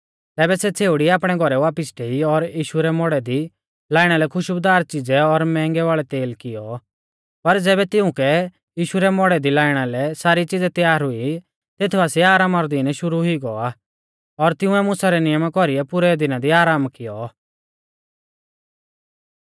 तैबै सै छ़ेउड़ी आपणै घौरै वापिस डेई और यीशु रै मौड़ै दी लाइणा लै खुश्बुदार च़िज़ै और मैंहगै वाल़ौ तेल कियौ पर ज़ैबै तिउंकै यीशु रै मौड़ै दी लाइणा लै सारी च़िज़ै तैयार हुई तेथ बासिऐ आरामा रौ दीन शुरु हुई गौ आ और तिंउऐ मुसा रै नियमा कौरीऐ पुरै दिना दी आराम कियौ